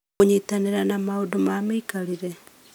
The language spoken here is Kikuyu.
Kũnyitanĩra na maũndũ ma mĩikarĩre.